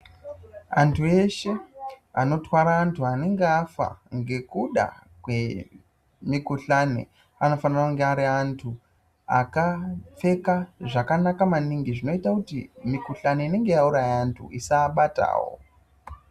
Vantu veshe vanotwara vantu vanenge vafa ngekuda kwemikuhlani vanofanire kunge vari vantu vakapfeka zvakanaka manhingi zvinoita kuti mikuhlani inenge yauraya vantu isava batawo.